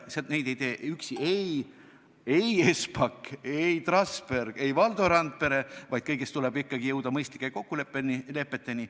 Neid ei tee üksi ei Espak, ei Trasberg, ei Valdo Randpere, vaid kõiges tuleb ikkagi jõuda mõistlike kokkulepeteni.